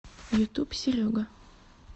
ютуб серега